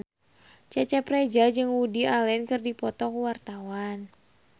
Cecep Reza jeung Woody Allen keur dipoto ku wartawan